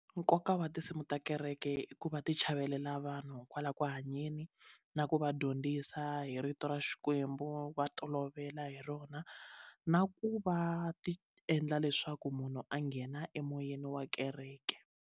Nkoka wa tinsimu ta kereke i ku va ti chavelela vanhu kwala ku hanyeni na ku va dyondzisa hi rito ra Xikwembu va tolovela hi rona na ku va ti endla leswaku munhu a nghena emoyeni wa kereke.